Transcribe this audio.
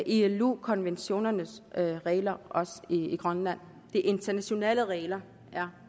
ilo konventionernes regler også i grønland de internationale regler er